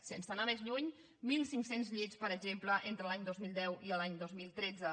sense anar més lluny mil cinc cents llits per exemple entre l’any dos mil deu i l’any dos mil tretze